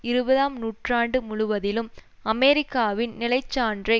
இருபதாம் நூற்றாண்டு முழுவதிலும் அமெரிக்காவின் நிலை சான்றை